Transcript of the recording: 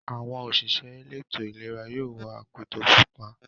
Àwọn òṣìṣẹ́ elétò-ìlera yóò wọ akoto pupa.